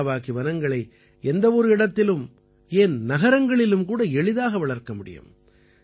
Miyawaki வனங்களை எந்த ஒரு இடத்திலும் ஏன் நகரங்களிலும் கூட எளிதாக வளர்க்க முடியும்